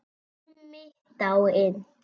Summi dáinn.